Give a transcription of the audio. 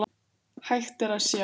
Hægt er að sjá